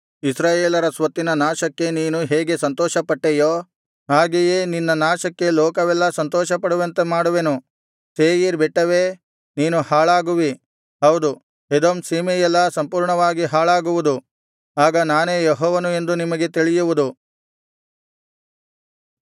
ಇಸ್ರಾಯೇಲರ ಸ್ವತ್ತಿನ ನಾಶಕ್ಕೆ ನೀನು ಹೇಗೆ ಸಂತೋಷಪಟ್ಟೆಯೋ ಹಾಗೆಯೇ ನಿನ್ನ ನಾಶಕ್ಕೆ ಲೋಕವೆಲ್ಲಾ ಸಂತೋಷಪಡುವಂತೆ ಮಾಡುವೆನು ಸೇಯೀರ್ ಬೆಟ್ಟವೇ ನೀನು ಹಾಳಾಗುವಿ ಹೌದು ಎದೋಮ್ ಸೀಮೆಯೆಲ್ಲಾ ಸಂಪೂರ್ಣವಾಗಿ ಹಾಳಾಗುವುದು ಆಗ ನಾನೇ ಯೆಹೋವನು ಎಂದು ನಿಮಗೆ ತಿಳಿಯುವುದು